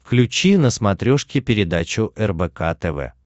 включи на смотрешке передачу рбк тв